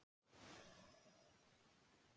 Páfi biðst afsökunar